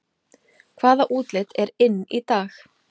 Hvaða útlit er inn í dag